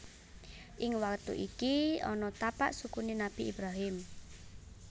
Ing watu iki ana tapak sukuné Nabi Ibrahim